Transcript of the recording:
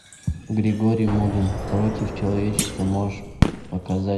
григорий мулин против человечества можешь показать